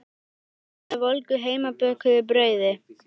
Berið fram með volgu heimabökuðu brauði.